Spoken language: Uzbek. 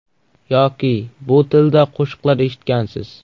Yoki bu tilda qo‘shiqlar eshitgansiz.